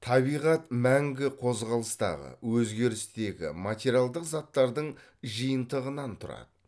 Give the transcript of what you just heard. табиғат мәңгі қозғалыстағы өзгерістегі материалдық заттардың жиынтығынан тұрады